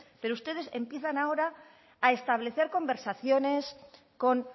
pero ustedes empiezan ahora a establecer conversaciones con